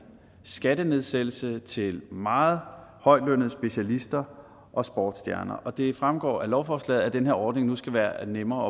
skattenedsættelse til meget højtlønnede specialister og sportsstjerner og det fremgår af lovforslaget at den her ordning nu skal være nemmere